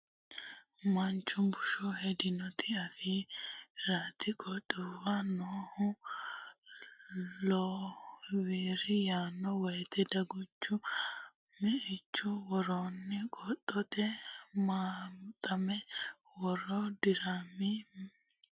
Meichu bunshe hedinota afi riti qixxaawe noohu wirri yaanno woyte dagunchu meichu woroonni quxante maxxara mare dirmi Meichu bunshe hedinota.